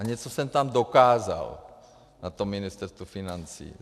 A něco jsem tam dokázal na tom Ministerstvu financí.